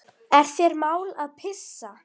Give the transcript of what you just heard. Er þér mál að pissa?